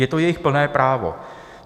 Je to jejich plné právo.